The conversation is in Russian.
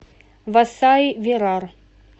васаи вирар